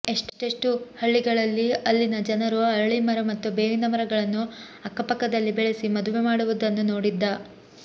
ಎಷೆ್ಟೂೀ ಹಳ್ಳಿಗಳಲ್ಲಿ ಅಲ್ಲಿನ ಜನರು ಅರಳೀಮರ ಮತ್ತು ಬೇವಿನ ಮರಗಳನ್ನು ಅಕ್ಕಪಕ್ಕದಲ್ಲಿ ಬೆಳೆಸಿ ಮದುವೆ ಮಾಡುವುದನ್ನು ನೋಡಿದ್ದ